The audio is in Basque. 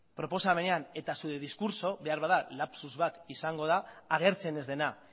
proposamenean eta zure diskurtsoan beharbada lapsus bat izango da agertzen ez dena